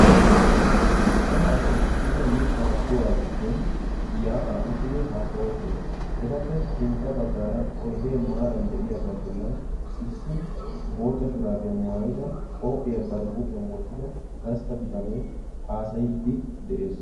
Cora asayi issippe mittaa kuwaa giddon yaa"aa uttidi haasayoosona etappe sintta baggaara oydee maaran de"iyagaa bollan issi bootta shuraabiya maayida qophiya ba huuphiyan wottida gastta bitanee haasayiiddi de"es.